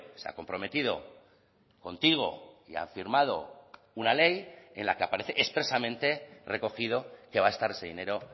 se ha comprometido contigo y ha firmado una ley en la que aparece expresamente recogido que va a estar ese dinero